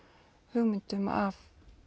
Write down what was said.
hugmyndum af